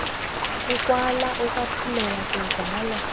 ukwala ukwaphulela kuzala